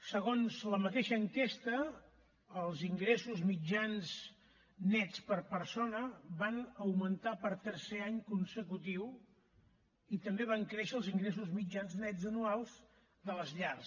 segons la mateixa enquesta els ingressos mitjans nets per persona van augmentar per tercer any consecutiu i també van créixer els ingressos mitjans nets anuals de les llars